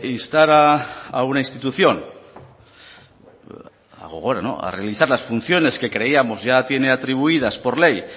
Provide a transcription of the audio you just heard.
instar a una institución a gogora a realizar las funciones que creíamos ya tiene atribuidas por ley